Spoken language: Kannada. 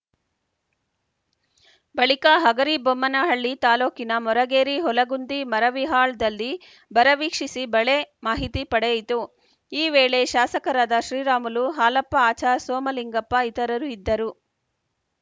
ಬಳಿಕ ಹಗರಿಬೊಮ್ಮನಹಳ್ಳಿ ತಾಲೂಕಿನ ಮೊರಗೇರಿ ಹೊಲಗುಂದಿ ಮರವಿಹಾಳ್‌ದಲ್ಲಿ ಬರ ವೀಕ್ಷಿಸಿ ಬೆಳೆ ಮಾಹಿತಿ ಪಡೆಯಿತು ಈ ವೇಳೆ ಶಾಸಕರಾದ ಶ್ರೀರಾಮುಲು ಹಾಲಪ್ಪ ಆಚಾರ್‌ ಸೋಮಲಿಂಗಪ್ಪ ಇತರರು ಇದ್ದರು